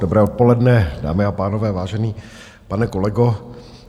Dobré odpoledne, dámy a pánové, vážený pane kolego...